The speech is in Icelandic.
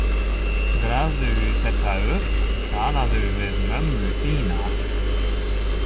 Grafðu þetta upp, talaðu við mömmu þína.